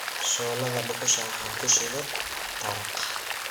shooladda dhuxusha waxan ku shiddhe taraq